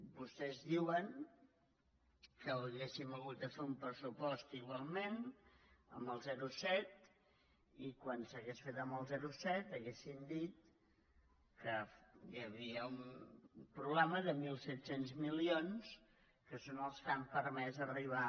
vostès diuen que hauríem hagut de fer un pressupost igualment amb el zero coma set i quan s’hagués fet amb el zero coma set haurien dit que hi havia un problema de mil set cents milions que són els que han permès arribar